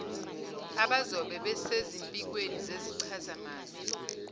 abazobe besezimpikweni zezichazamazwi